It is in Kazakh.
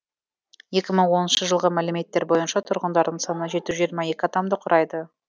екі мың оныншы жылғы мәліметтер бойынша тұрғындарының саны жеті жүз жиырма екі адамды құрайды